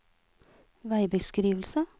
veibeskrivelse